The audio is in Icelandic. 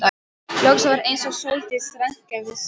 Loks var eins og Sóldís rankaði við sér.